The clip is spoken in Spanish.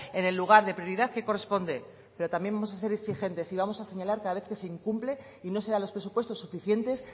en el lugar de prioridad que corresponde pero también vamos a ser exigentes y vamos a señalar cada vez que se incumple y no serán los presupuestos suficientes